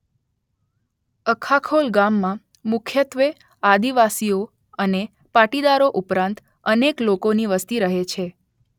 અખાખોલ ગામમાં મુખ્યત્વે આદિવાસીઓ અને પાટીદારો ઉપરાંત અનેક લોકોની વસ્તી રહે છે